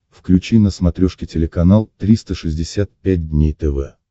включи на смотрешке телеканал триста шестьдесят пять дней тв